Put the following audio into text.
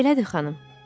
Elədir, xanım.